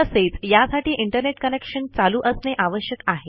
तसेच यासाठी internet connection चालू असणे आवश्यक आहे